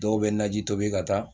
Dɔw bɛ naji tobi ka taa